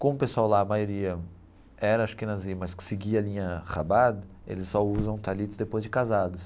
Como o pessoal lá, a maioria, era Ashkenazim, mas que seguia a linha rabat eles só usam talit depois de casados.